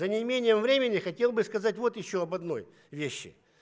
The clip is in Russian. за неимением времени хотел бы сказать вот ещё об одной вещи